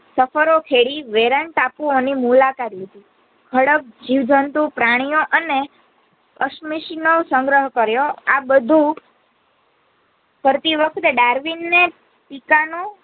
સફરો ખેરી વેરાંગ ટાપુઓની મુલાકાત લીધી ખડક જીવજંતુ પ્રાણીઓ અને અશમશીનો ઓ સંગ્રહ કર્યો આ બધું કરતી વખતે ડાર્વીને પિતાનું